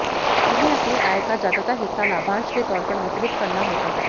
इन्हें अपनी आय का ज्यादातर हिस्सा लाभांश के तौर पर वितरित करना होता है